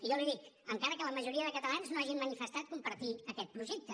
i jo li dic encara que la majoria de catalans no hagin manifestat compartir aquest projecte